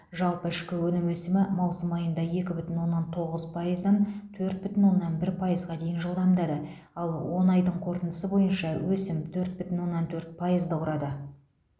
жалпы ішкі өнім өсімі маусым айында екі бүтін оннан тоғыз пайыздан төрт бүтін оннан бір пайызға дейін жылдамдады ал он айдың қорытындысы бойынша өсім төрт бүтін оннан төрт пайызды құрады